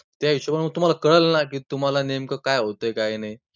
त्या हिशोबाने तुम्हांला कळलं ना, की तुम्हांला नेमकं काय होतंय काय नाही?